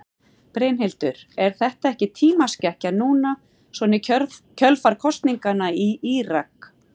Brynhildur: Er þetta ekki tímaskekkja núna svona í kjölfar kosninganna í Írak?